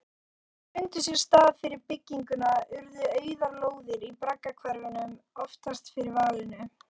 Þegar þeir fundu sér stað fyrir bygginguna urðu auðar lóðir í braggahverfunum oftast fyrir valinu.